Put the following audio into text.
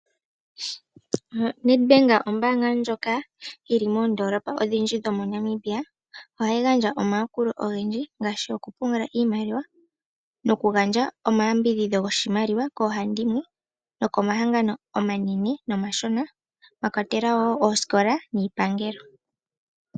NEDBANK o bank ndjoka yili moondoolopa odhindji moNamibia ohayi gandja omayakulo ogendji ngaashi okupungula iimaliwa nokugandja omayambidhidho goshimaliwa koohandimwe nokomahangano omanene nomashona mwakwatelwa woo oosikola niipangelo.